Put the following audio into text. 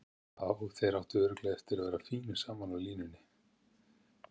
Já, þeir áttu örugglega eftir að vera fínir saman á línunni.